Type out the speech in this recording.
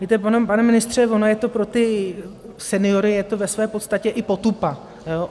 Víte, pane ministře, ono je to pro ty seniory, je to ve své podstatě i potupa.